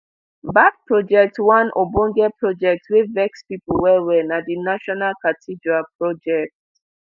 bad project one ogbonge project wey vex pipo well well na di national cathedral project